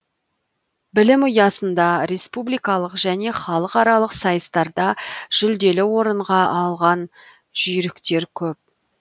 білім ұясында республикалық және халықаралық сайыстарда жүлделі орынға алған жүйріктер көп